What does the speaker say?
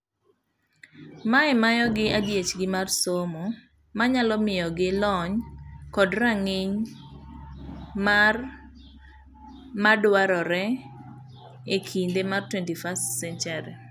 Mae mayogi adiechgi mar somo manyalo miyogi lony kod rang'iny mar madwarre ekinde mar 21st-century'